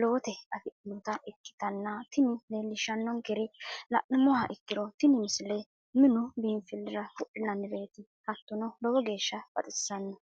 lowote afidhinota ikkitanna tini leellishshannonkeri la'nummoha ikkiro tini misile minu biinfillira wodhinannireeti hattono lowo geeshsha baxisanno.